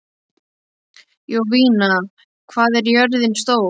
Jovina, hvað er jörðin stór?